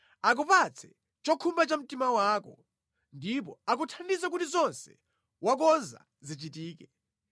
Akupatse chokhumba cha mtima wako ndipo akuthandize kuti zonse wakonza zichitike.